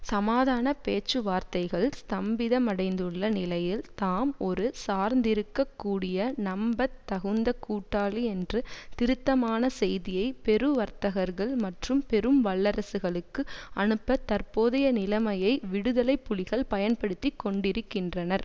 சமாதான பேச்சுவார்த்தைகள் ஸ்தம்பிதமடைந்துள்ள நிலையில் தாம் ஒரு சார்ந்திருக்கக் கூடிய நம்பத்தகுந்த கூட்டாளி என்ற திருத்தமான செய்தியை பெரு வர்த்தகர்கள் மற்றும் பெரும் வல்லரசுகளுக்கு அனுப்ப தற்போதைய நிலைமையை விடுதலை புலிகள் பயன்படுத்தி கொண்டிருக்கின்றனர்